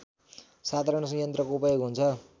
साधारण यन्त्रको उपयोग हुन्छ